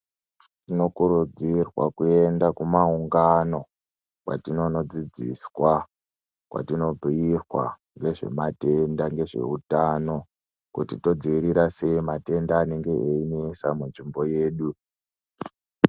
Tinokurudzirwa kuenda kumaungano kwatinono dzidziswa kwatinobhuyirwa ngezvematenda nezveutano kuti todzivirira sei matenda anenge eyinetsa kunzvimbo yedu.